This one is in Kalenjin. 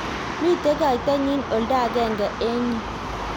mito kaitanyin oldo age eng' yu